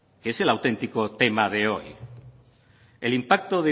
que es el auténtico tema de hoy el impacto